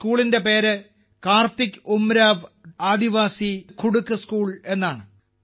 ഈ സ്കൂളിന്റെ പേര് കാർത്തിക് ഉരാംവ് ആദിവാസി കുഡൂഖ് സ്കൂൾ എന്നാണ്